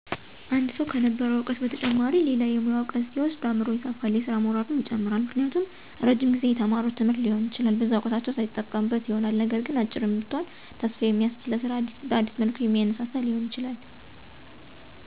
አወ ሰዉ ከነበረዉ እዉቀት በተጨማሪ ሌላ የሙያ እዉቀት ሲወስድ አምሮዉ ይሰፋል የስራ ሞራሉም ይጨምራል። ምክንያቱም እረጅም ጊዜ የተማሩት ትምህርት ሊኖር ይችላል በዛ እዉቀታቸዉ ሳይጠቀሙበት ይሆናልነገር ግን "አጭርም ብትሆን ተስፋ የሚያስዝ ለስራ በአዲስ መልኩ የሚያነሳሳ" ሊሆን ይችላል በሌላም መልኩ "አጫጭር ስልጠና ወስደዉ ለስራ የበቁ ያዩ ይሆናል" እነዛም መልካም አርያ ይሆኗቸዋል። ደግሞም የበፊቱን እዉቀት መጠቀም ሲችሉ በአግባቡ ሳይጠቀሙበት ቀርተዉ ሊሆን ይችላል ስለዚህ፦< ያንን እድል በድጋሜ በትንሽ መልኩ ሲያገኙት> በአግባብ ይጠቀሙበታል።